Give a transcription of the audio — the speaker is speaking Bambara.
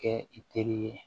Kɛ i teri ye